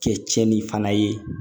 Kɛ tiɲɛni fana ye